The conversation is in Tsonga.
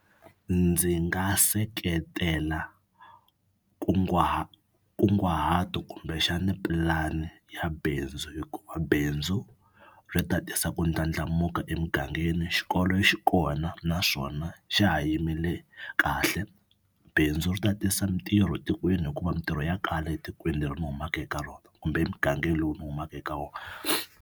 Ndzi nga seketela kunguhato kumbexani pulani ya bindzu hikuva bindzu ri ta tisa ku ndlandlamuka emugangeni. Xikolo xi kona naswona xa ha yimile kahle bindzu ri ta tisa mitirho tikweni hikuva mintirho ya kwale etikweni leri ni humaka eka rona kumbe emugangeni lowu ni humaka eka wona.